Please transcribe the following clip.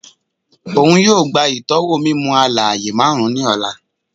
Oun yoo gba itọwo mimu-alaaye marun ni ọla